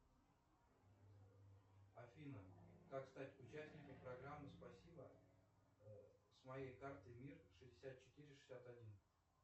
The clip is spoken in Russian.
афина как стать участником программы спасибо с моей картой мир шестьдесят четыре шестьдесят один